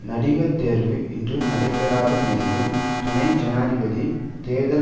நடிகர் தேர்வு இன்னும் நடைபெறாத நிலையில் துணை ஜனாதிபதி தேர்தலில்